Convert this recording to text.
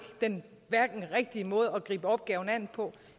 den rigtige måde at gribe opgaven an på